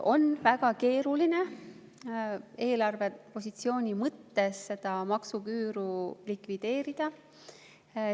On väga keeruline eelarvepositsiooni mõttes seda maksuküüru likvideerida.